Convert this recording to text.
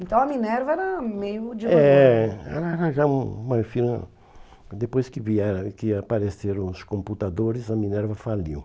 Então a Minerva era meio de uma... É, ela era já uma... Depois que vieram, que apareceram os computadores, a Minerva faliu.